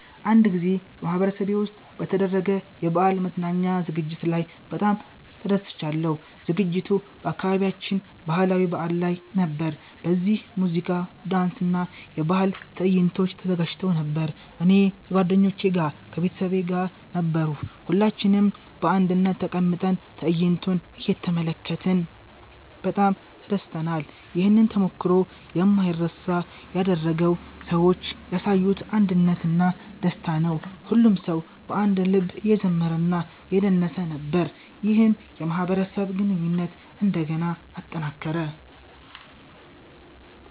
አንድ ጊዜ በማህበረሰቤ ውስጥ በተደረገ የበዓል መዝናኛ ዝግጅት ላይ በጣም ተደስቻለሁ። ዝግጅቱ በአካባቢያችን ባህላዊ በዓል ላይ ነበር፣ በዚህም ሙዚቃ፣ ዳንስ እና የባህል ትዕይንቶች ተዘጋጅተው ነበር። እኔ ከጓደኞቼ እና ከቤተሰቤ ጋር ነበርሁ። ሁላችንም በአንድነት ተቀምጠን ትዕይንቶቹን እየተመለከትን በጣም ተደስተናል። ይህን ተሞክሮ የማይረሳ ያደረገው ሰዎች ያሳዩት አንድነት እና ደስታ ነው። ሁሉም ሰው በአንድ ልብ እየዘመረ እና እየደነሰ ነበር፣ ይህም የማህበረሰብ ግንኙነትን እንደገና አጠናከረ።